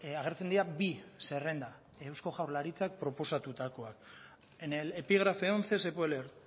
agertzen dira bi zerrenda eusko jaurlaritzak proposatutakoak en el epígrafe once se puede leer